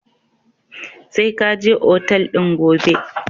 Sai ka je otal din gobe!